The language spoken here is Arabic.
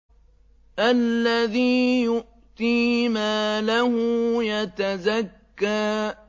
الَّذِي يُؤْتِي مَالَهُ يَتَزَكَّىٰ